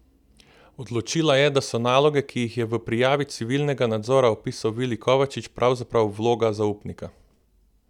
Odločila je, da so naloge, ki jih je v prijavi civilnega nadzora opisal Vili Kovačič, pravzaprav vloga zaupnika.